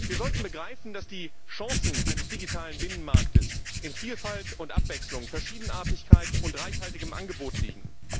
Wir sollten begreifen, dass die Chancen eines digitalen Binnenmarktes in Vielfalt und Abwechslung, Verschiedenartigkeit und reichhaltigem Angebot liegen.